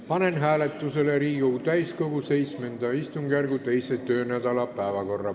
Panen hääletusele Riigikogu täiskogu VII istungjärgu teise töönädala päevakorra.